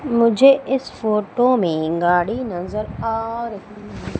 मुझे इस फोटो में गाड़ी नजर आ रही--